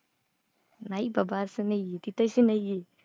नाही बाबा असं नाही आहे. ती तशी नाही आहे.